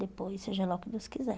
Depois, seja lá o que Deus quiser.